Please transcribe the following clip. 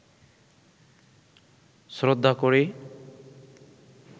শ্রদ্ধা করি